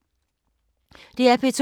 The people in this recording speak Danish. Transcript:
DR P2